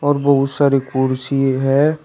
और बहुत सारे कुर्सी है।